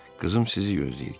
Qızım sizi gözləyir.